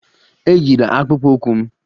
Eyila akpụkpọ ụkwụ m!